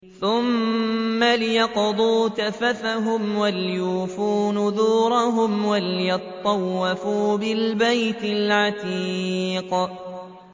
ثُمَّ لْيَقْضُوا تَفَثَهُمْ وَلْيُوفُوا نُذُورَهُمْ وَلْيَطَّوَّفُوا بِالْبَيْتِ الْعَتِيقِ